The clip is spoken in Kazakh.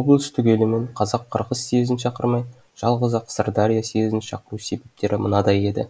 облыс түгелімен қазақ қырғыз съезін шақырмай жалғыз ақ сырдария съезін шақыру себептері мынадай еді